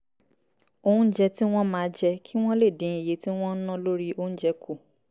oúnjẹ tí wọ́n máa jẹ kí wọ́n lè dín iye tí wọ́n ń ná lórí oúnjẹ kù